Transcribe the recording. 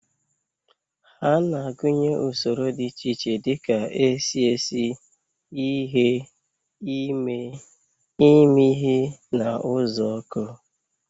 Ha na-agụnye usoro dị iche iche dị ka esi esi, ighe, ime, imi ihe na uzuoku.